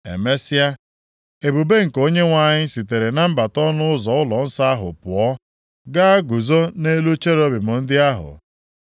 Emesịa, ebube nke Onyenwe anyị sitere na mbata ọnụ ụzọ ụlọnsọ ahụ pụọ, gaa guzo nʼelu cherubim ndị ahụ.